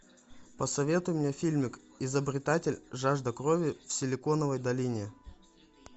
посоветуй мне фильмик изобретатель жажда крови в силиконовой долине